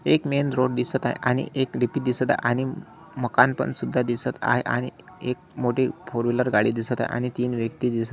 एक main road दिसत आहे आणि एक डी.पी. दिसत आहे आणि म मकान पण सुद्धा दिसत आहे आणि एक मोठी फोर व्हीलर गाडी दिसत आहे आणि तीन व्यक्ती दिसत आ--